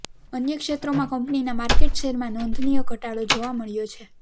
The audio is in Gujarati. અન્ય ક્ષેત્રોમાં કંપનીના માર્કેટ શેરમાં નોંધનીય ઘટાડો જોવા મળ્યો છે